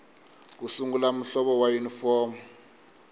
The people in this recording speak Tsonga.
ku sungula muhlovo wa yunifomo